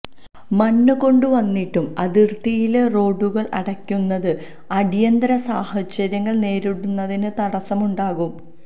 മണ്ണ് കൊണ്ടുവന്നിട്ട് അതിര്ത്തിയിലെ റോഡുകള് അടയ്ക്കുന്നത് അടിയന്തര സാഹചര്യങ്ങള് നേരിടുന്നതിന് തടസമുണ്ടാക്കും